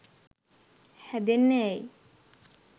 හැදෙන්නේ ඇයි